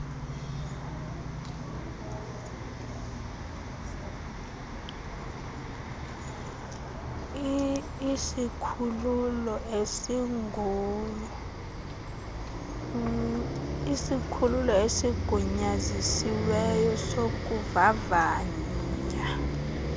isikhululo esigunyazisiweyo sokuvavanya